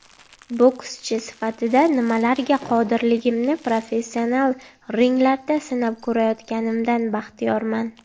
Bokschi sifatida nimalarga qodirligimni professional ringlarda sinab ko‘rayotganimdan baxtiyorman.